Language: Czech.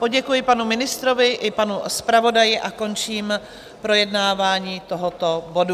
Poděkuji panu ministrovi i panu zpravodaji a končím projednávání tohoto bodu.